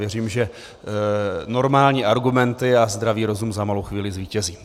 Věřím, že normální argumenty a zdravý rozum za malou chvíli zvítězí.